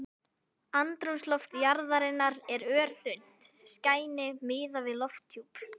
Andrúmsloft jarðarinnar er örþunnt skæni miðað við lofthjúp